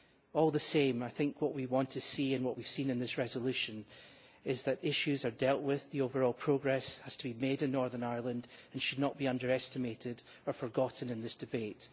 All the same I think what we want to see, and what we have seen in this resolution, is that issues are dealt with, the overall progress has to be made in Northern Ireland and should not be underestimated or forgotten in this debate.